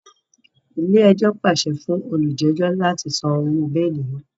Ilé-ẹjọ́ pàṣẹ fún olujejo láti sàn òwò beeli náà